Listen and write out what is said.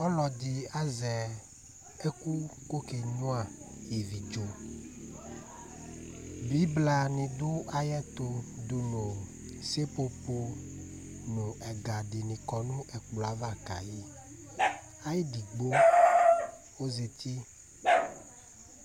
Ɔlɔdi azɛ ɛku kɔkenyua ivi dzo Bibla didu ayɛtu dunu seƒoƒo Ɛga dini kɔ nɛkplɔ ava kayi Ayidigbo ɔzati